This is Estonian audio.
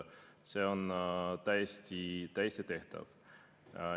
See on täiesti tehtav.